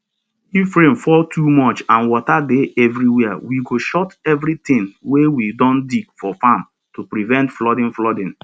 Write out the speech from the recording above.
if rain fall too much and water dey everywhere we go shut everytin wey we don dig for farm to prevent flooding flooding